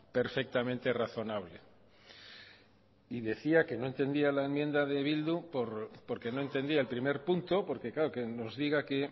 perfectamente razonable y decía que no entendía la enmienda de bildu porque no entendía el primer punto porque claro que nos diga que